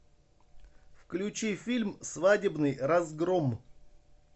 включи фильм свадебный разгром